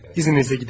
İzninizlə gedək.